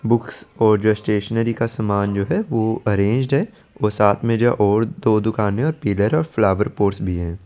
Books और just stationery का जो सामान जो हे वो अरेंज्ड हे वो साथ में जो और दो दुकाने फिलर हे और फ्लावर पोस्ट भी हैं।